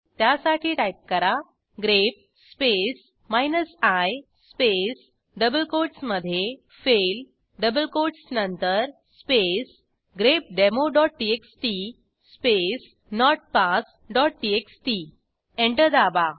त्यासाठी टाईप करा grep space minus I space double कोटसमधे फेल डबल कोटस नंतरspace grepdemoटीएक्सटी स्पेस notpassटीएक्सटी एंटर दाबा